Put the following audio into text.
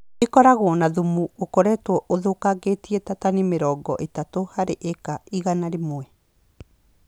ĩkoragwo na thumu ũkoretwo ũthũkangĩte ta tani mĩrongo ĩtatũ harĩ ĩka igana rĩmwe